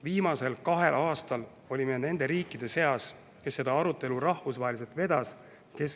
Viimasel kahel aastal olime nende riikide seas, kes seda arutelu rahvusvaheliselt vedasid.